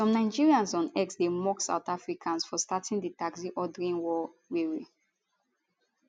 some nigerians on x dey mock south africans for starting di taxi ordering war wey wey